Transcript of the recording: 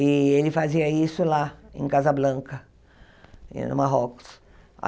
E ele fazia isso lá, em Casablanca, eh no Marrocos.